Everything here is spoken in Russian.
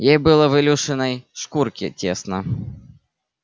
ей было в илюшиной шкурке тесно